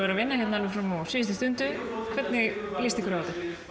vinna fram á síðustu stundu hvernig líst ykkur á